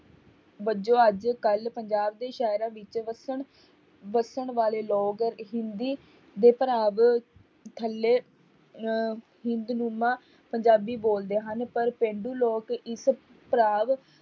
ਵਜੋਂ ਅੱਜ ਕੱਲ੍ਹ ਪੰਜਾਬ ਦੇ ਸ਼ਹਿਰਾਂ ਵਿੱਚ ਵਸਣ ਵਸਣ ਵਾਲੇ ਲੋਕ ਹਿੰਦੀ ਥੱਲੇ ਅਹ ਹਿੰਦਨੁਮਾ ਪੰਜਾਬੀ ਬੋਲਦੇ ਹਨ, ਪਰ ਪੇਂਡੂ ਲੋਕ ਇਸ